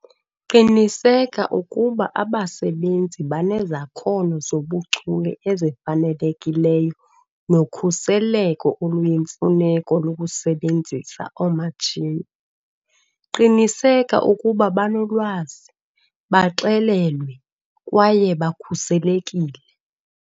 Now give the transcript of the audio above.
Qiniseka ukuba abasebenzisi banezakhono zobuchule ezifanelekileyo nokhuseleko oluyimfuneko lokusebenzisa oomatshini. Qiniseka ukuba banolwazi, baxelelwe kwaye bakhuselekile.